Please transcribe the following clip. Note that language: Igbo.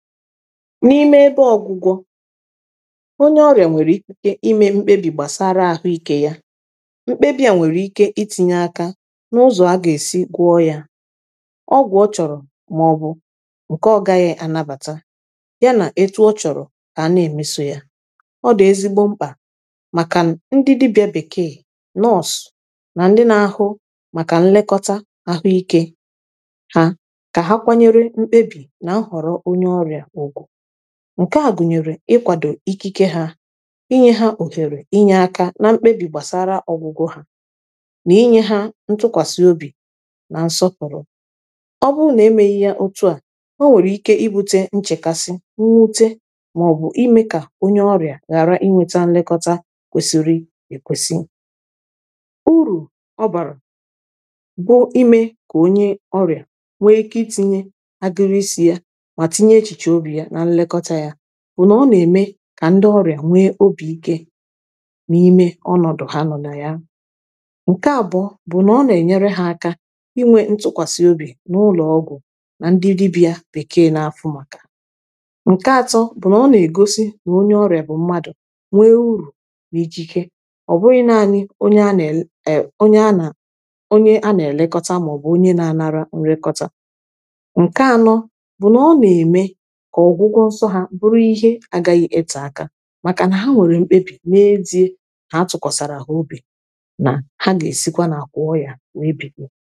n’ime ebe ọgwụgwọ onye ọrịa nwere ikike ime mkpebi gbasara ahụike ya mkpebi a nwere ike itinye aka n’ụzọ aga esi gwọọ ya ọgwụ ọ chọrọ ma ọ bụ nke ọ gaghị anabata ya na etu ọ chọrọ a na-emeso ya ọ dị ezigbo mkpa maka ndị dibịa bekee na ọsụ na ndị na-ahụ maka nlekọta ahụike ha ka ha kwanyere mkpebi nke a gụnyere ịkwado ikike ha inye ha ohere inye aka na mkpebi gbasara ọgwụgwọ ha na inye ha ntụkwasị obi na nsọpụrụ ọbụrụ na-emeghi ya otu a o nwere ike ibute nchekasị mwute ma ọ bụ ime ka onye ọrịa ghara inweta nlekọta kwesiri ekwesi uru ọ bara bụ ime ka onye ọrịa nwee ike itinye agụrụ isi ya bụ na ọ na-eme ka ndị ọrịa nwee obi ike na ime ọnọdụ ha nọ na ya nke abụọ bụ na ọ na-enyere ha aka inwe ntụkwasị obi n’ụlọọgwụ na ndị dibịa bekee na-afụ maka nke atọ bụ na ọ na-egosi na onye ọrịa bụ mmadụ nwee uru na ijike ọ bụrụ i naanị onye a na-ere onye a na-elekọta ma ọ bụ onye na-anara nrekọta ihe ịtụ aka maka na ha nwere mkpebi na ndị ha atụkwasara ha obi na ha ga-esikwa na akwụ ọya na ebikwa